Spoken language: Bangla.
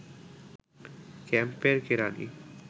ক্যাম্পের কেরানি